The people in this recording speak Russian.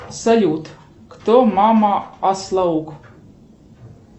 салют кто мама ослаук